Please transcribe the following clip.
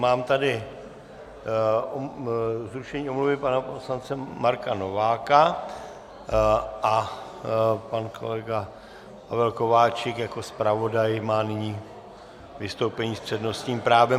Mám tady zrušení omluvy pana poslance Marka Nováka a pan kolega Pavel Kováčik jako zpravodaj má nyní vystoupení s přednostním právem.